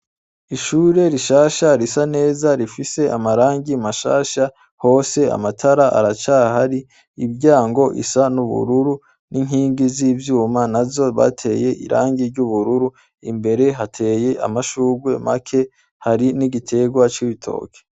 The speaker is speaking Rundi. Ishure rishasha risa neza rifise amarangi mashasha hose amatara aracahari ,imiryango isa n'ubururu n'inkingi z'ivyuma nazo bateye irangi ry'ubururu imbere hateye amashugwe make ,hari n'igitegwa c'itoke.